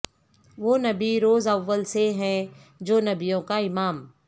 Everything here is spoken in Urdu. وہ نبی روز اول سے ہے جو نبیوں کا امام